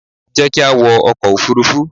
Jẹ́ ki a wọ ọkò òfurufú